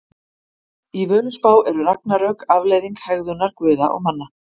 Í Völuspá eru ragnarök afleiðing hegðunar guða og manna.